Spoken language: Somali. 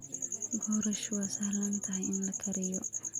Boorash waa sahlan tahay in la kariyo.